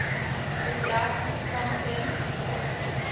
bedrag ontvang ten